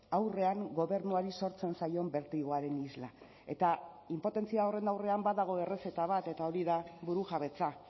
aurrean gobernuari sortzen zaion bertigoaren isla eta inpotentzia horren aurrean badago errezeta bat eta hori da burujabetza